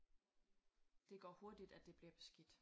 Det går hurtigt at det bliver beskidt